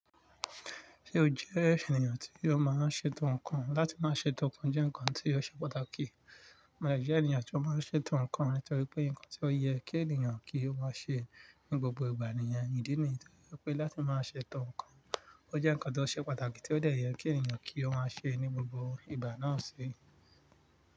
Ṣé o jẹ́ ènìyàn tí ò máa ń ṣètò nǹkan? Láti máa ṣètò nǹkan jẹ́ ǹkan tí ó ṣe pàtàkì. Mo jẹ́ ènìyàn tí ó máa ń ṣètò nǹkan nítorí pé ǹkan tí ó yẹ kí ènìyàn kí ó máa ṣe ní gbogbo ìgbà ni iyẹn ìdí nìyí. Torí pé láti máa ṣètò nǹkan, ó jẹ́ ǹkan tí ó ṣe pàtàkì tí ó dẹ̀ yẹ kí ènìyàn kí ó máa ṣe ní gbogbo ìgbà náà ṣe.